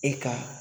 E ka